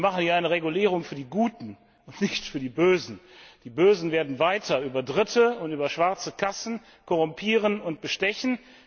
Wir machen ja eine Regulierung für die Guten und nicht für die Bösen. Die Bösen werden weiter über Dritte und über schwarze Kassen korrumpieren und bestechen.